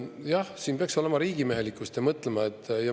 Jah, siin peaks olema riigimehelikkust ja mõtlemist.